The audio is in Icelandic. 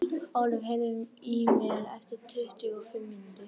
Ólöf, heyrðu í mér eftir tuttugu og fimm mínútur.